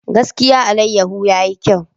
Gaskiya! alayyahu yayi kyau.